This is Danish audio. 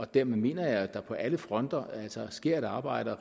dermed mener jeg at der på alle fronter sker et arbejde og at